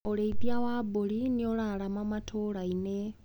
ũrĩithia wa mbũri nĩũrarama matũrainĩ.